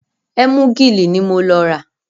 Ẹ́múgìlì ní mo lọ rà.